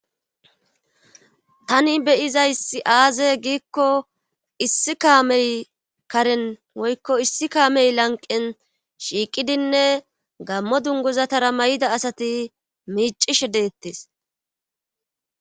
tani beyizayssi aaze giikko issi kaamey karen woykko issi kaamey lanqen shiiqidinne gammo dunguzatara may7ida asati miicishe deettes